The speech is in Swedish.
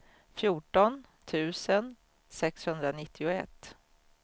fjorton tusen sexhundranittioett